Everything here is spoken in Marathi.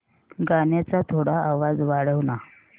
गाण्याचा थोडा आवाज वाढव ना